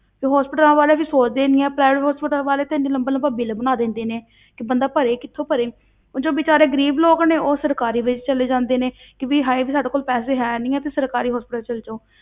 ਤੇ hospitals ਵਾਲੇ ਵੀ ਸੋਚਦੇ ਨੀ ਆਂ private hospitals ਵਾਲੇ ਤਾਂ ਇੰਨਾ ਲੰਬਾ ਲੰਬਾ ਬਿੱਲ ਬਣਾ ਦਿੰਦੇ ਨੇ ਕਿ ਬੰਦਾ ਭਰੇ ਕਿੱਥੋਂ ਭਰੇ, ਉਹ ਜੋ ਬੇਚਾਰੇ ਗ਼ਰੀਬ ਲੋਕ ਨੇ ਉਹ ਸਰਕਾਰੀ ਵਿੱਚ ਚਲੇ ਜਾਂਦੇ ਨੇ ਕਿ ਵੀ ਹਾਏ ਵੀ ਸਾਡੇ ਕੋਲ ਪੈਸੇ ਹੈ ਨੀ ਹੈ ਤੇ ਸਰਕਾਰੀ hospital ਚਲੇ ਜਾਓ।